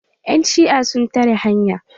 Yan shi'a sun tare hanya.